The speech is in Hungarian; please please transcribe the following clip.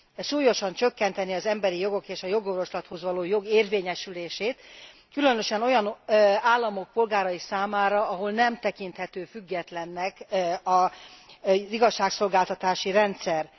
Súlyosan csökkentené az emberi jogok és a jogorvoslathoz való jog érvényesülését, különösen olyan államok polgárai számára, ahol nem tekinthető függetlennek az igazságszolgáltatási rendszer.